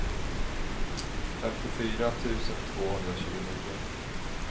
femtiofyra tusen tvåhundratjugonio